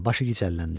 Başı gicəlləndi.